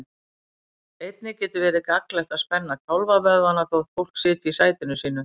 Einnig getur verið gagnlegt að spenna kálfavöðvana þótt fólk sitji í sætinu sínu.